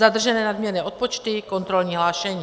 Zadržené nadměrné odpočty, kontrolní hlášení.